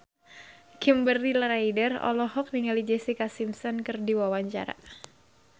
Kimberly Ryder olohok ningali Jessica Simpson keur diwawancara